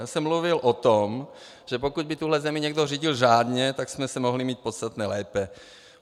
Já jsem mluvil o tom, že pokud by tuhle zemi někdo řídil řádně, tak jsme se mohli mít podstatně lépe.